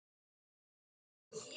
Hvað með gjafir?